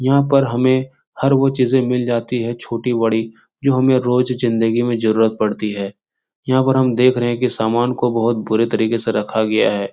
यहाँ पर हमें हर वो चीजे मिल जाती है छोटी-बड़ी जो हमें रोज जिंदगी में जरूरत पड़ती हैं यहाँ पर हम देख रहे हैं की सामान को बहुत बूरे तरीके से रखा गया हैं।